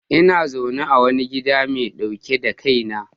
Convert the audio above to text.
Ina zaune a wani gida mai dauke da kaina